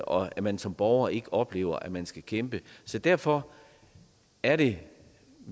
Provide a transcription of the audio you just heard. og at man som borger ikke oplever at man skal kæmpe så derfor er det